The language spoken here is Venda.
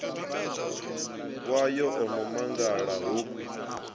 wayo o no mangala hoku